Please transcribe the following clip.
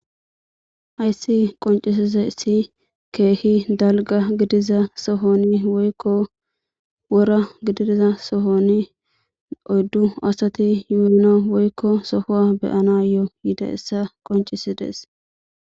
Hayissi qonccisizayissi kehi dalga gidida soohon woyikko woranni oyddu asati sohuwa beyanayo yidaga qoncisese